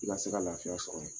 I ka se ka lafiya sɔrɔ yen.